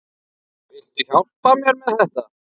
Viltu hjálpa mér með þetta?